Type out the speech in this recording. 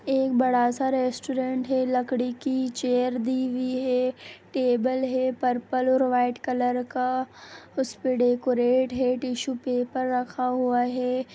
एक बड़ा सा रेस्टोरेंट है लकड़ी की चेयर दी हुई है टेबल हैं पर्पल और व्हाइट कलर का उस पे डेकोरेट है टिशू पेपर रखा हुआ है।